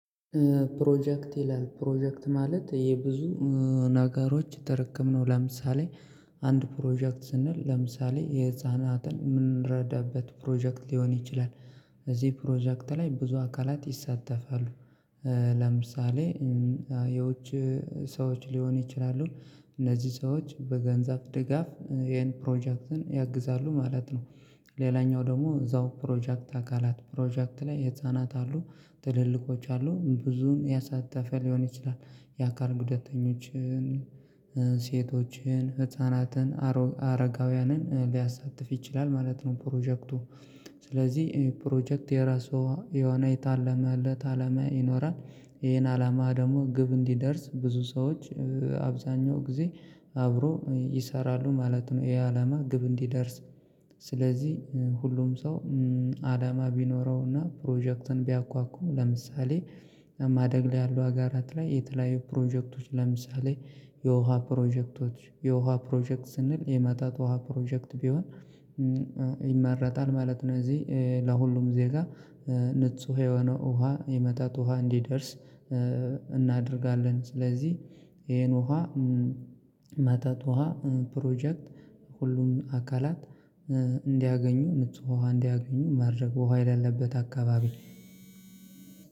ፕሮጀክት ይላል ፕሮጀክት ማለት የብዙ ነገሮች ጥርቅም ነው። ለምሳሌ አንድ ፕሮጀክት ስንል ለምሳሌ የህፃናትን የምንረዳበት ፕሮጀክት ሊሆን ይችላል። እዚህ ፕሮጀክት ላይ ብዙ አካላት ይሳተፋሉ። ለምሳሌ የውጭ ሰዎች ሊሆኑ ይችላሉ። እነዚህ ሰዎች በገንዘብ ድጋፍ ይሄን ፕሮጀክትን ያግዛሉ ማለት ነው። ሌላኛው ደግሞ እዛው ፕሮጀክት አካላት ፕሮጀክት ላይ ህፃናት አሉ። ትልልቆች አሉ ብዙን ያሳተፈ ሊሆን ይችላል። የአካል ጉዳተኞችን ሴቶችን ህፃናትን አረጋውያንን ሊያሳትፍ ይችላል ማለት ነው። ፕሮጀክቱ ስለዚህ ፕሮጀክት የራሷ የሆነ የታለመ አለት አላማ ይኖራል። ይሄን አላማ ደግሞ ግብ እንዲደርስ ብዙ ሰዎች አብዛኛው ጊዜ አብሮ ይሰራሉ ማለት ነው። ይሄ አላማ ግብ እንዲደርስ ስለዚህ ሁሉም ሰው። አላማ ቢኖረውና ፕሮጀክትን ቢያንኳኩ ለምሳሌ ማደግ ላይ ያለው አገራት ላይ የተለያዩ ፕሮጀክቶች ለምሳሌ የውሃ ፕሮጀክቶች የውሃ ፕሮጀክት ስንል የመጠጥ ውሃ ፕሮጀክት ቢሆን ይመረጣል ማለት ነው። እዚህ ለሁሉም ዜጋ ንጹህ የሆነ ውሃ የመጣጥ ውሃ እንዲደርስ እናደርጋለን። ስለዚህ ይሄን ውሃ መጠጥ ወሃ ፕሮጀክት ሁሉም አካላት እንዲያገኙ ንጹ ወሃ እንዲያገኙ ማድረግ ወሃ የሌለበት አካባቢ።